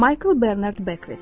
Michael Bernard Bekt.